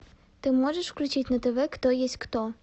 ты можешь включить на тв кто есть кто